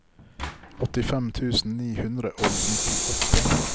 åttifem tusen ni hundre og nittiåtte